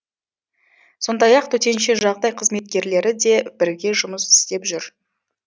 сондай ақ төтенше жағдай қызметкерлері де бірге жұмыс істеп жүр